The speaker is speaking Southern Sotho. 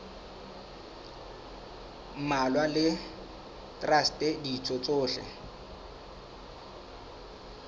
mmalwa le traste ditho tsohle